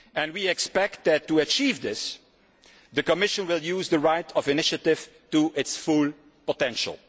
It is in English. We expect that, to achieve this, the Commission will use the right of initiative to its full potential.